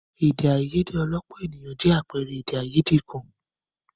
Èdè àìyedè ọlọ́pọ̀ ènìyàn jẹ́ àpẹẹrẹ èdè àìyedè kan.